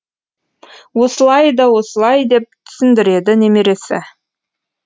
осылай да осылай деп түсіндіреді немересі